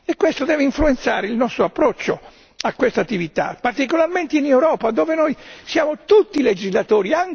Questo deve influenzare il nostro approccio a quest'attività, particolarmente in Europa dove noi siamo tutti legislatori